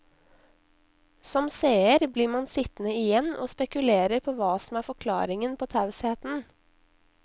Som seer blir man sittende igjen og spekulere på hva som er forklaringen på tausheten.